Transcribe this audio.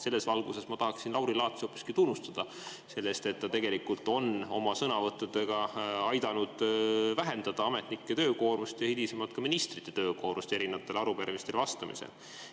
Selles valguses ma tahaksin Lauri Laatsi hoopiski tunnustada selle eest, et ta on oma sõnavõttudega aidanud vähendada ametnike töökoormust ja hilisemalt ka ministrite töökoormust erinevatele arupärimistele vastamisel.